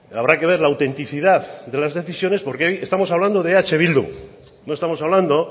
habrá que ver la autenticidad de las decisiones porque hoy estamos hablando de eh bildu no estamos hablando